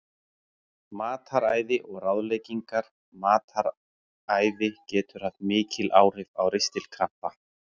Mataræði og ráðleggingar Mataræði getur haft mikil áhrif á ristilkrampa.